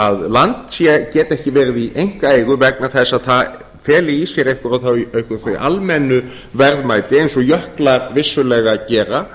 að land geti ekki verið í einkaeigu vegna þess að það feli í sér einhver þau almennu verðmæti eins og jöklar vissulega gera